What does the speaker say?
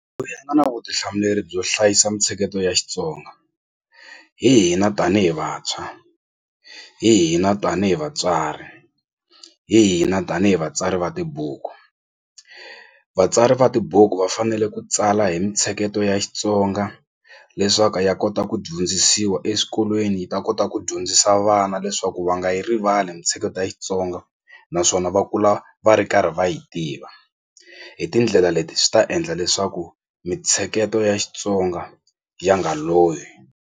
nga na vutihlamuleri byo hlayisa mintsheketo ya Xitsonga hi hina tanihi vantshwa hi hina tanihi vatswari hi hina tanihi vatsari va tibuku vatsari va tibuku va fanele ku tsala hi mintsheketo ya Xitsonga leswaku ya kota ku dyondzisiwa eswikolweni yi ta kota ku dyondzisa vana leswaku va nga yi rivali mali mintsheketo ya Xitsonga naswona va kula va ri karhi va yi tiva hi tindlela leti swi ta endla leswaku mitsheketo ya Xitsonga ya nga lovi.